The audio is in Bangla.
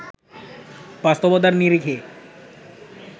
বাস্তবতার নিরিখে